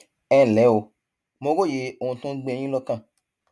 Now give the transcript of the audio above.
ẹ ǹlẹ o mo róye ohun tó ń gbé yín lọkàn